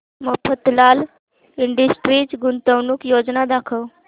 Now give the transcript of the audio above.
Mafatlal industries गुंतवणूक योजना दाखव